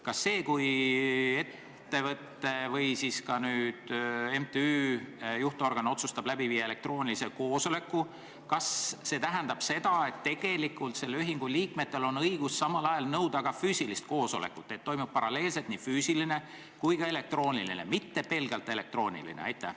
Kas see, kui ettevõtte või siis nüüd ka MTÜ juhtorgan otsustab läbi viia elektroonilise koosoleku, tähendab seda, et tegelikult selle ühingu liikmetel on õigus samal ajal nõuda ka füüsilist koosolekut, seda, et toimub paralleelselt nii füüsiline kui ka elektrooniline koosolek, mitte pelgalt elektrooniline?